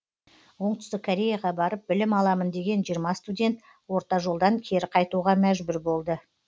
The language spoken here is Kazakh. оңтүстік кореяға барып білім аламын деген жиырма студент орта жолдан кері қайтуға мәжбүр болды